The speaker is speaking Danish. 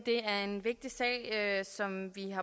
er en vigtig sag som vi